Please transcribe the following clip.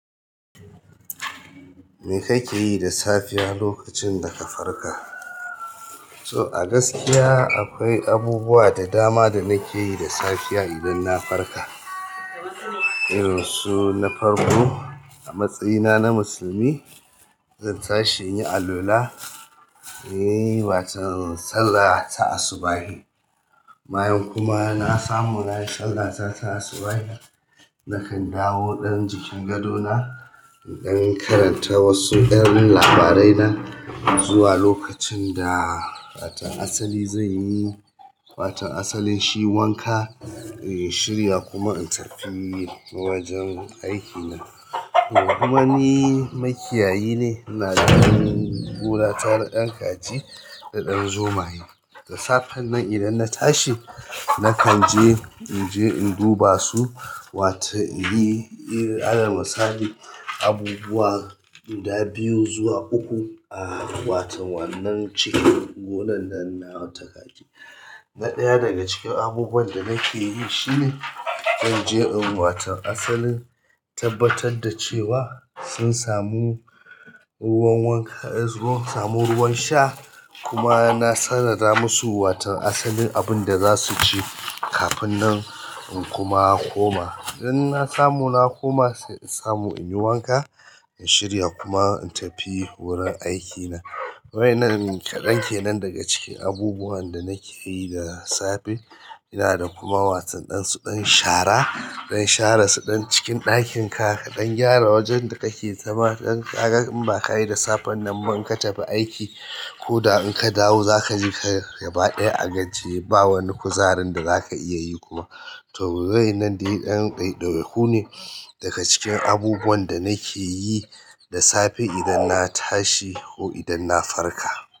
Me kake yi da safiya lokacin da ka farka? So a gaskiya akwai abubuwa da dama da nake yi da safiya idan na farka. Irin su na farko, a matsayina na musulmi, zan tashi in yi alwala, in yi wata sallah ta asubahi. Bayan kuma n sami nayi sallah ta ta asubahi nakan dawo jikin gado na ɗan karanta wasu ɗan ababena zuwa lokacin da wato asali zanyi wato asali shi wanka in shirya kuma ina tafi wajen aiki na kuma ni makiyayi ne, ina da gona ta na ɗan kaji da ɗan zomaye. Da safen nan idan na tashi, nakan je, in je in duba su, watan in yi, irin, alan musali abubuwa guda biyu zuwa uku a watan wannan cikin gonan nan nawa ta kaji. Na ɗaya daga cikin abubuwan nan da nakeyi shine zan je in wato asalin tabbatar da cewa sun samu ruwan wanka, sun samu ruwan sha, kuma na tana da masu watan asalin abun da za su ci kafin nan in kuma koma. Idan na samu na koma, sai in samu in yi wanka, in shirya kuma in tafi wurin aikina. Wai nan kaɗan kenan daga cikin abubuwan da nake yi da safe. Ina da kuma wasan dan su dan shara, dan share su ɗan cikin ɗakin ka, ka ɗan gyara wajen da kake zama, dan ka ga in ba ka yi da safen nan ba in ka tafi aiki, ko da in ka dawo za ka ji ka gaba ɗaya a gajiye, ba wani kuzarin da za ka iya yi kuma. To waƴannan dai ɗan ɗaiɗaiku ne daga cikin abubuwan da nake yi da safe idan na tashi ko idan na farka.